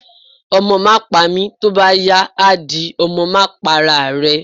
Omo ma pami, tọ bá yá á dí, Ọmọ ma pá ará rẹ́